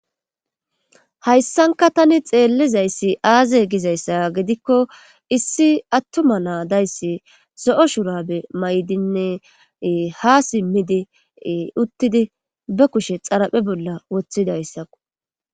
hayssanka tani xeellizayssi aaze gizayssa gidikko issi attuma naadayssi so7o shurabe may7dinne ha simmidi uttidi be kushe xaraphe bolla wothidayssaku